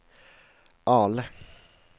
Ale